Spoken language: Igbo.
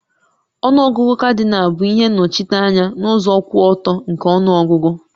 Ọnụ ọgụgụ Kadịnal bụ ihe nnochite anya n'ụzọ kwụ ọtọ nke ọnụọgụ